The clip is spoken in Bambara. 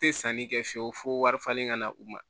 Tɛ sanni kɛ fiyewu fo wari falen ka na u ma